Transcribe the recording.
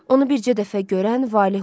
Onu bircə dəfə görən valeholur.